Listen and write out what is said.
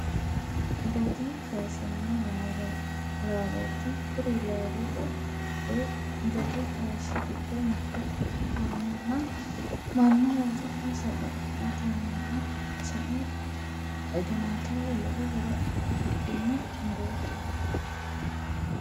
Gati kaashshonna laalooti. Kuri laalote woy gati kaashshi giddo mitto ikkanna mannu oosora sagalimmatennino sae xaginateho lowo horo afidhino mu'roooti.